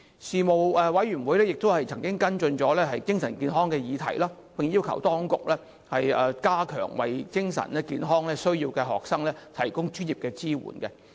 事務委員會亦曾跟進精神健康的議題，並要求當局加強為有精神健康需要的學生所提供的專業支援。